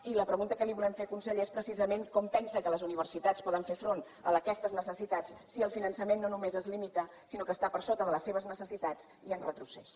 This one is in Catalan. i la pregunta que li volem fer conseller és precisament com pensa que les universitats poden fer front a aquestes necessitats si el finançament no només es limita sinó que està per sota de les seves necessitats i en retrocés